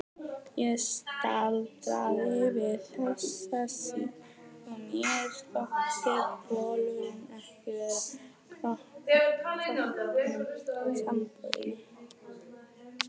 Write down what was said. Ég staldraði við þessa sýn og mér þótti bolurinn ekki vera kroppnum samboðinn.